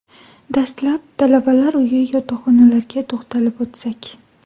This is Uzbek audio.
Dastlab, talabalar uyi yotoqxonalarga to‘xtalib o‘tsak.